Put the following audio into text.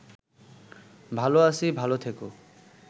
ভালো আছি ভালো থেকো